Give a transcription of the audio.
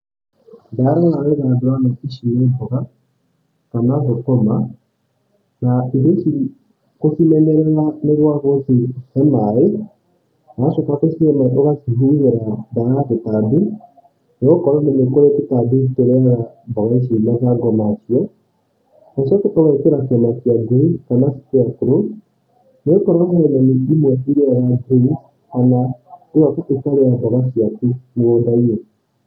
Ndarora wega ndĩrona ici nĩ mboga kana thũkũma, na irio ici gũcimenyerera nĩ gwa gũcihe maaĩ, wacoka gũcihe maaĩ ũgacihuhĩra ndawa ya tũtambi nĩgokorwo nĩ kũrĩ tũtambi tũrĩaga mboga ici mathangũ macio, ũcoke ũgekĩra kĩmakia ngui kana scarecrow nĩgũkorwo he nyoni imwe irĩaga thũkũma kana kũrĩa mboga ciaku mũgũnda-inĩ.